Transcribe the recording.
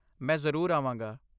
ਮੈਂ ਜ਼ਰੂਰ ਆਵਾਂਗਾ।